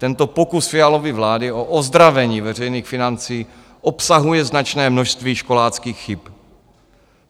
Tento pokus Fialovy vlády o ozdravení veřejných financí obsahuje značné množství školáckých chyb.